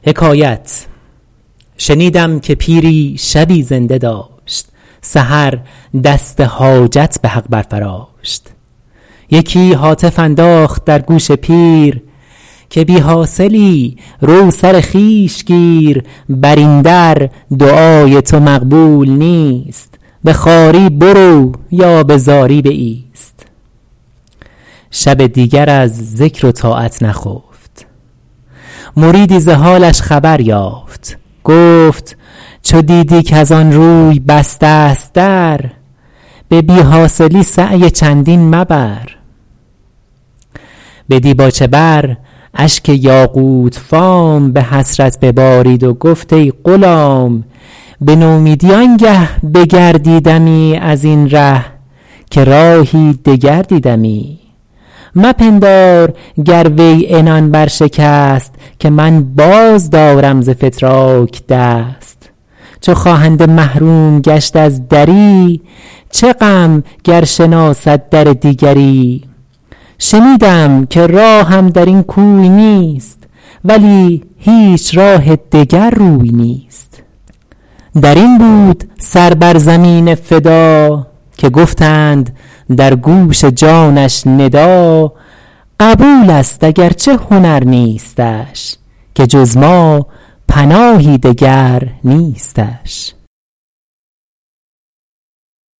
شنیدم که پیری شبی زنده داشت سحر دست حاجت به حق بر فراشت یکی هاتف انداخت در گوش پیر که بی حاصلی رو سر خویش گیر بر این در دعای تو مقبول نیست به خواری برو یا به زاری بایست شب دیگر از ذکر و طاعت نخفت مریدی ز حالش خبر یافت گفت چو دیدی کز آن روی بسته ست در به بی حاصلی سعی چندین مبر به دیباچه بر اشک یاقوت فام به حسرت ببارید و گفت ای غلام به نومیدی آنگه بگردیدمی از این ره که راهی دگر دیدمی مپندار گر وی عنان بر شکست که من باز دارم ز فتراک دست چو خواهنده محروم گشت از دری چه غم گر شناسد در دیگری شنیدم که راهم در این کوی نیست ولی هیچ راه دگر روی نیست در این بود سر بر زمین فدا که گفتند در گوش جانش ندا قبول است اگر چه هنر نیستش که جز ما پناهی دگر نیستش